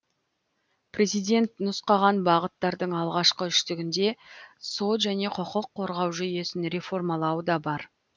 президент нұсқаған бағыттардың алғашқы үштігінде сот және құқық қорғау жүйесін реформалау да бар